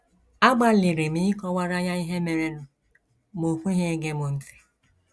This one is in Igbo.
Agbalịrị m ịkọwara ya ihe merenụ, ma o kweghị ege m ntị.